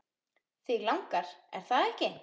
Þig langar, er það ekki?